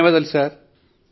ధన్యవాదాలు సర్